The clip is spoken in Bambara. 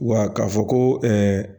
Wa k'a fɔ ko